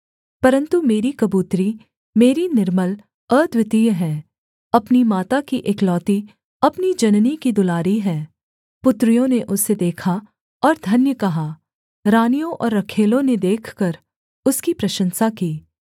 परन्तु मेरी कबूतरी मेरी निर्मल अद्वितीय है अपनी माता की एकलौती अपनी जननी की दुलारी है पुत्रियों ने उसे देखा और धन्य कहा रानियों और रखैलों ने देखकर उसकी प्रशंसा की